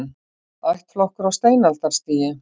Ættflokkur á steinaldarstigi